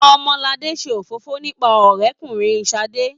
Omolade ṣe òfófó nípa ọrẹkùnrin Sadé.